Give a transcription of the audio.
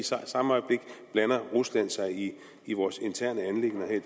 samme øjeblik blander rusland sig i vores interne anliggender her i